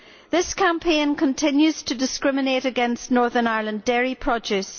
This campaign continues to discriminate against Northern Ireland dairy produce.